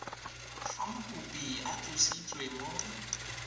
fa mokopi a tlositswe mo